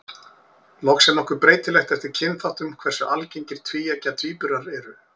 Loks er nokkuð breytilegt eftir kynþáttum hversu algengir tvíeggja tvíburar eru.